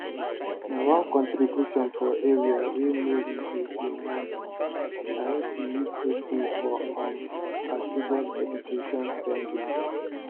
na one contribution for area wey mary dey do monthly nai she use take pay for um her children education spendings